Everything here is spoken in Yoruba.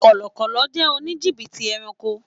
Kọlọkọ́lọ́ jẹ́ òní jìbìtì ẹranko.